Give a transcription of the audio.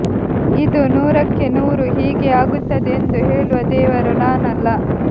ಇದು ನೂರಕ್ಕೆ ನೂರು ಹೀಗೇ ಆಗುತ್ತದೆ ಎಂದು ಹೇಳುವ ದೇವರು ನಾನಲ್ಲ